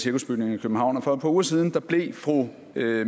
cirkusbygningen i københavn og for et par uger siden blev fru